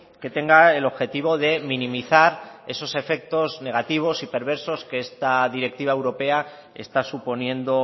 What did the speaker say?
que tenga el objetivo de minimizar esos efectos negativos y perversos que esta directiva europea está suponiendo